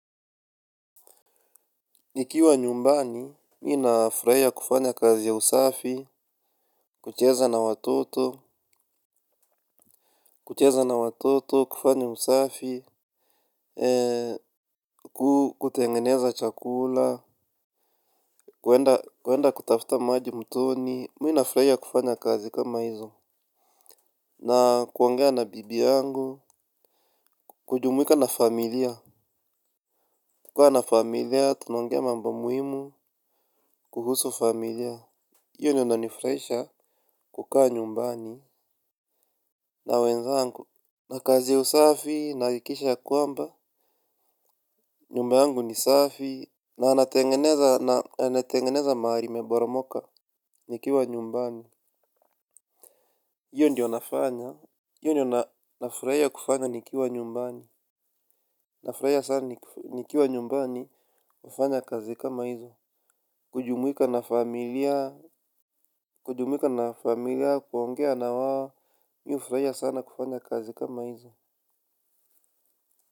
Nikiwa nyumbani, mii nafraia kufanya kazi ya usafi, kucheza na watoto, kucheza na watoto, kufanya usafi, kutengeneza chakula, kwenda kutafuta maji mtoni, miinafraia kufanya kazi kama hizo, na kuongea na bibi yangu, kujumuika na familia, kukaa na familia, tunongea mambo muhimu, kuhusu familia. Iyo nyo na nifraisha kukaa nyumbani na wenzangu na kazi ya usafi naakikisha ya kwamba nyumba yangu ni safi na nanatengeneza maari imeboromoka nikiwa nyumbani. Iyo ndiyo nafanya, iyo ndo na nafraia kufanya nikiwa nyumbani. Nafraia sana nikiwa nyumbani kufanya kazi kama hizo. Kujumwika na familia, kujumwika na familia, kuongea na wao ni ufraia sana kufanya kazi kama izo.